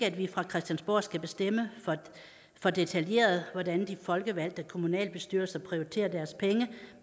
at vi fra christiansborg skal bestemme for detaljeret hvordan de folkevalgte kommunalbestyrelser prioriterer deres penge